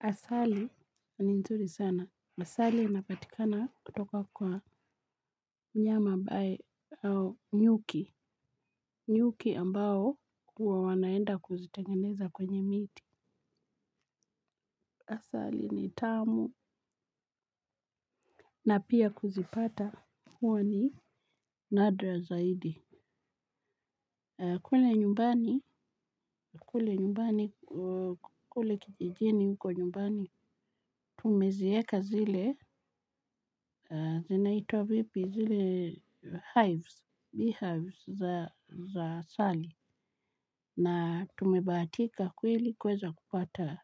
Asali ni nzuri sana. Asali napatikana kutoka kwa mnyama abae au nyuki. Nyuki ambao huwa wanaenda kuzitengeneza kwenye miti. Asali ni tamu. Na pia kuzipata huwa ni nadra zaidi. Kule nyumbani. Kule nyumbani. Kule kijijini huko nyumbani. Tumezieka zile. Zinaitwa vipi. Zile hives. Bee hives za asali na tumebahatika kweli kuweza kupata